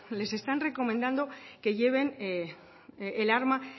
les están recomendando que lleven el arma